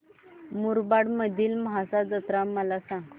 मुरबाड मधील म्हसा जत्रा मला सांग